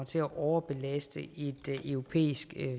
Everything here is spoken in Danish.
til at overbelaste et europæisk